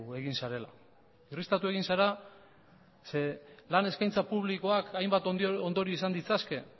egin zarela irristatu egin zara zeren lan eskaintza publikoak hainbat ondorio izan ditzake